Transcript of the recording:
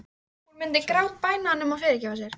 Hún myndi grátbæna hann um að fyrirgefa sér.